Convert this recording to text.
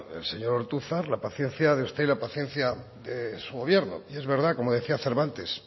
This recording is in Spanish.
el señor ortuzar la paciencia de usted y la paciencia de su gobierno y es verdad como decía cervantes